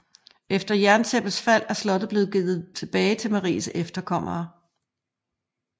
Efter jerntæppets fald er slottet blevet givet tilbage til Maries efterkommere